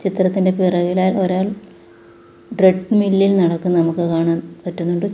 ചിത്രത്തിൻ്റെ പിറകിലായി ഒരാൾ ട്രെഡ്മിൽ ഇൽ നടക്കുന്നത് നമുക്ക് കാണാൻ പറ്റുന്നുണ്ട് ചു--